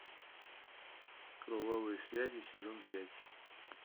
кровавые связи сезон пять